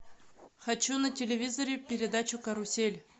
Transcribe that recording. хочу на телевизоре передачу карусель